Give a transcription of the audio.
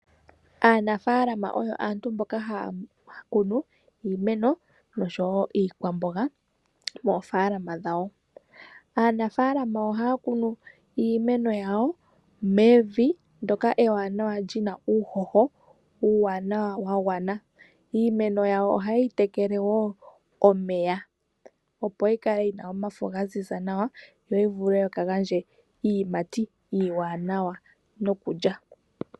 Aanafaalama oyo aantu mboka haya kunu iimeno oshowo iikwamboga moofalama dhawo .Aanafaalama ohaya kunu iimeno yawo ndoka ewanawa lina uuhoho wagwana . Iimeno yawo oha yeyi tekele woo omeya opo yikale yina omafo gaziza nawa yo yivule okugandja iiyimati iiwanawa nokulya.